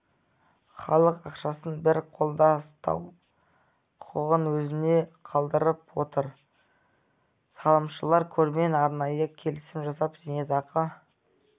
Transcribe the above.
халық ақшасын бір қолда ұстау құқығын өзіне қалдырып отыр салымшылар қормен арнайы келісім жасап зейнетақы